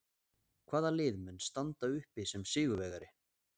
Hvaða lið mun standa uppi sem sigurvegari?